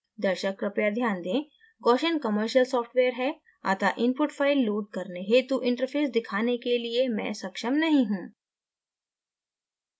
दर्शक कृपया ध्यान दें: gaussian commercial सॉफ्टवेयर है अतः input फाइल load करने हेतु interface दिखाने के लिए मैं सक्षम नहीं हूँ